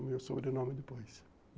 O meu sobrenome depois.